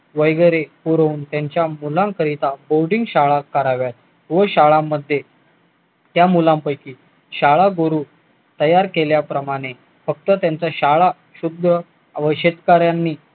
करून त्यांच्या मुलांकरिता बोर्डिंग शाळा कराव्यात व शाळांमध्ये त्या मुलांपैकी शाळा तयार केल्याप्रमाणे फक्त त्यांच्या शाळा व शेतकऱ्यांनी